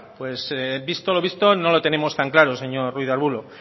pues visto lo visto no lo tenemos tan claror señor ruiz de arbulo